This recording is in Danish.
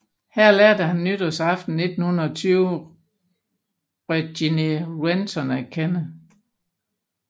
Her lærte han nytårsaften 1920 Régine Renchon at kende